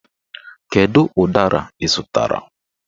Kedu ụdara ị zụtara?